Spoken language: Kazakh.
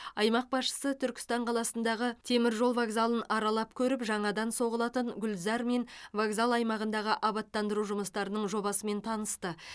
аймақ басшысы түркістан қаласындағы теміржол вокзалын аралап көріп жаңадан соғылатын гүлзар мен вокзал аймағындағы абаттандыру жұмыстарының жобасымен танысты